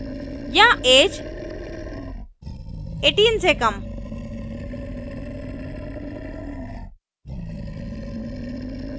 या ऐज 18 से कम